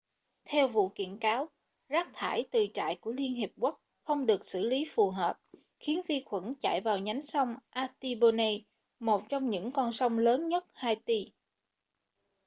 theo vụ kiện cáo rác thải từ trại của liên hợp quốc không được xử lý phù hợp khiến vi khuẩn chảy vào nhánh sông artibonite một trong những con sông lớn nhất haiti